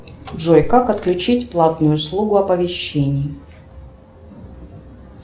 джой как отключить платную услугу оповещения